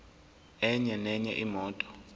enye nenye imoto